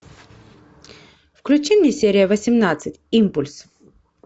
включи мне серия восемнадцать импульс